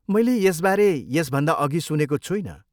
मैले यसबारे यसभन्दा अघि सुनेको छुइनँ।